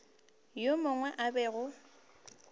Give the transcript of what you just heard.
yo mongwe yo a bego